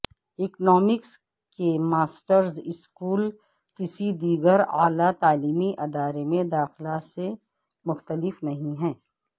economics کے masters school کسی دیگر اعلی تعلیمی ادارے میں داخلہ سے مختلف نہیں ہے